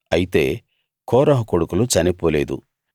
అయితే కోరహు కొడుకులు చనిపోలేదు